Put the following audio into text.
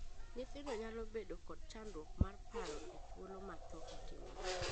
Nyithindo nyalo bedo kod chandruok mar paro e thuolo ma thoo otimore.